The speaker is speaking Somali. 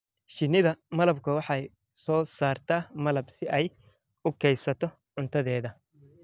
Shinnida malabku waxay soo saartaa malab si ay u kaydsato cuntadeeda.